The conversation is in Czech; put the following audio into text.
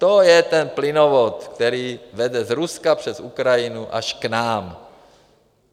To je ten plynovod, který vede z Ruska přes Ukrajinu až k nám.